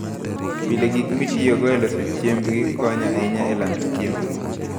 Pile, gik mitiyogo e loso chiembgi konyo ahinya e lando chiembgi.